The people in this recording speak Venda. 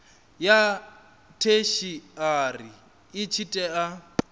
ya theshiari i tshi tea